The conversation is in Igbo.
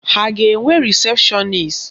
Ha ga-enwe rịsepshọnis?